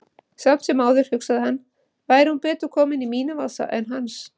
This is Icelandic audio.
Samt sem áður, hugsaði hann, væri hún betur komin í mínum vasa en hans.